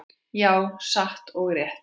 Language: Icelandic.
Já, satt og rétt.